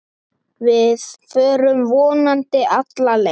Við förum vonandi alla leið